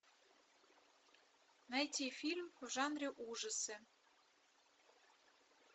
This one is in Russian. найти фильм в жанре ужасы